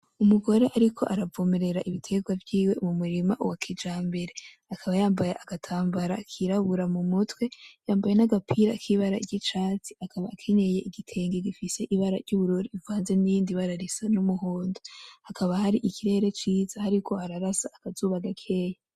Umugore ariko aravomerera ibiterwa vyiwe mu murima wa kijambere. Akaba yambaye agatambara kirabura mu mutwe, yambaye n'agapira k'ibara ry'icatsi. Akaba akenyeye igitenge gifise ibara ry'ubururu rivanze nirindi risa n'umuhondo. Hakaba hari ikirere ciza, hariko hararasa akazuba gakeya.